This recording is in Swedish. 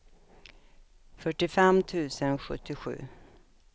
fyrtiofem tusen sjuttiosju